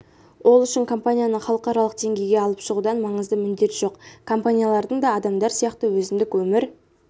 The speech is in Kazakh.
ол үшін компанияны халықаралық деңгейге алып шығудан маңызды міндет жоқ компаниялардың да адамдар сияқты өзіндік өмір